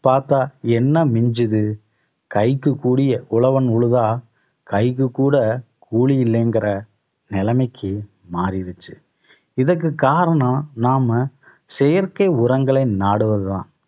பாத்தா என்ன மிஞ்சுது கைக்கு கூடிய உழவன் உழுதா கைக்கு கூட கூலி இல்லைங்கிற நிலைமைக்கு மாறிடுச்சு. இதற்கு காரணம் நாம செயற்கை உரங்களை நாடுவதுதான்